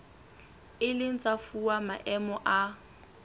ileng tsa fuwa maemo a